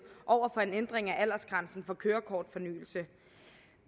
over for en ændring af aldersgrænsen for kørekortsfornyelse